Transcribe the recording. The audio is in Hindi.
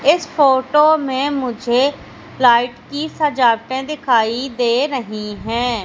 इस फोटो में मुझे लाइट की सजावटे दिखाई दे रहीं हैं।